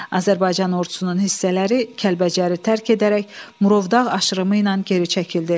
Azərbaycan ordusunun hissələri Kəlbəcəri tərk edərək Murovdağ aşırımı ilə geri çəkildi.